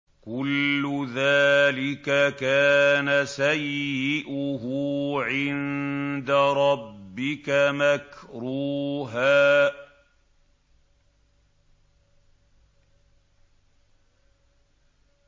كُلُّ ذَٰلِكَ كَانَ سَيِّئُهُ عِندَ رَبِّكَ مَكْرُوهًا